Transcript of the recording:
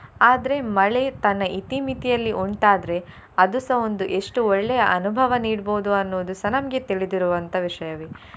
ಆದ್ರೆ ಮಳೆ ತನ್ನ ಇತಿ ಮಿತಿಯಲ್ಲಿ ಉಂಟಾದ್ರೆ ಅದುಸ ಒಂದು ಎಷ್ಟು ಒಳ್ಳೆಯ ಅನುಭವ ನೀಡ್ಬೋದು ಅನ್ನುವುದುಸ ನಮ್ಗೆ ತಿಳಿದಿರುವಂತಹ ವಿಷಯವೇ.